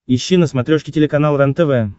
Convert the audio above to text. ищи на смотрешке телеканал рентв